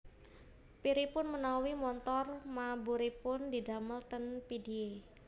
Piripun menawi montor maburipun didamel ten Pidie?